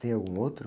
Tem algum outro?